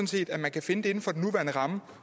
set at man kan finde dem inden for den nuværende ramme